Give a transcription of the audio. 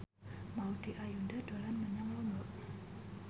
Maudy Ayunda dolan menyang Lombok